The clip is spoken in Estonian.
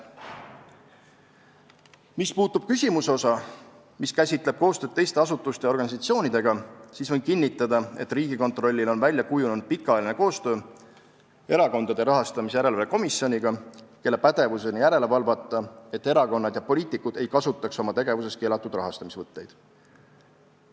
Mis puudutab koostööd teiste asutuste ja organisatsioonidega, siis võin kinnitada, et Riigikontrollil on välja kujunenud pikaajaline koostöö Erakondade Rahastamise Järelevalve Komisjoniga, kelle pädevuses on järele valvata, et erakonnad ja poliitikud ei kasutaks oma tegevuses keelatud rahastamisvõtteid.